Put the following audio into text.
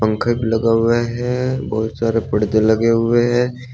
Gate लगा हुआ है बहुत सारे परदे लगे हुए हैं।